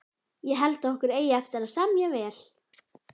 Ég held okkur eigi eftir að semja vel